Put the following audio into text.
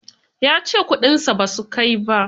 Ya ce kudinsa ba su kai ba.